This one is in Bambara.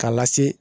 K'a lase